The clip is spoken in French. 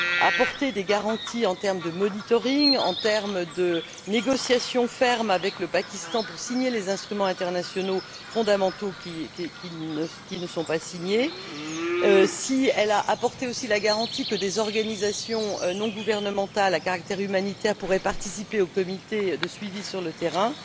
apporté des garanties en termes de monitoring, en termes de négociations fermes avec le Pakistan pour signer les instruments internationaux fondamentaux qui ne sont pas signés, si elle apporté aussi la garantie que des organisations non gouvernementales à caractère humanitaire pourraient participer au comité de suivi sur le terrain.